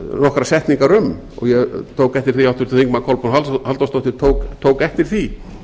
nokkrar setningar um og ég tók eftir háttvirtan að háttvirtir þingmenn kolbrún halldórsdóttir tók eftir því